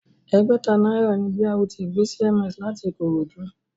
Ẹgbẹ̀ta náírà ni BRT gbé CMS láti Ikorodu